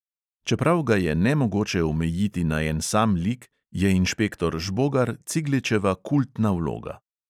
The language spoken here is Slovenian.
Čeprav ga je nemogoče omejiti na en sam lik, je inšpektor žbogar cigličeva kultna vloga.